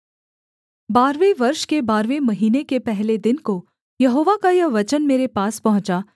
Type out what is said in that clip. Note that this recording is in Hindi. बारहवें वर्ष के बारहवें महीने के पहले दिन को यहोवा का यह वचन मेरे पास पहुँचा